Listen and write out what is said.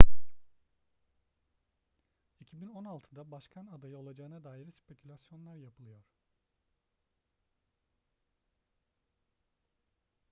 2016'da başkan adayı olacağına dair spekülasyonlar yapılıyor